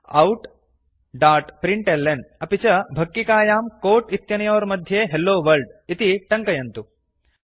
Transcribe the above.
outप्रिंटल्न अपि च भक्किकायां कोट् इत्यनयोर्मध्ये हेलोवर्ल्ड इति टङ्कयन्तु